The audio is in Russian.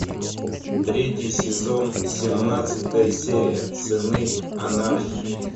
третий сезон семнадцатая серия сыны анархии